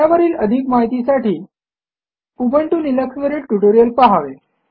त्यावरील अधिक माहितीसाठी उबंटु लिनक्सवरील ट्युटोरियल पहावे